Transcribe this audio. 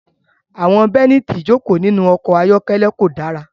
Àwọn bélíìtì ìjókòó nínú ọkọ̀ ayọ́kẹ́lẹ́ kò dára.